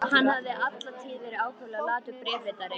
Hann hafði alla tíð verið ákaflega latur bréfritari.